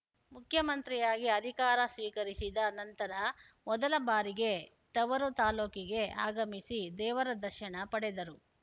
ಮುಖ್ಯಮಂತ್ರಿಯಾಗಿ ಅಧಿಕಾರ ಸ್ವೀಕರಿಸಿದ ನಂತರ ಮೊದಲ ಬಾರಿಗೆ ತವರು ತಾಲೂಕಿಗೆ ಆಗಮಿಸಿ ದೇವರ ದರ್ಶನ ಪಡೆದರು